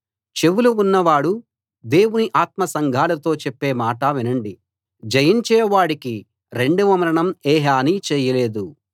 చెవులు ఉన్నవాడు దేవుని ఆత్మ సంఘాలతో చెప్పే మాట వినండి జయించే వాడికి రెండవ మరణం ఏ హని చేయలేదు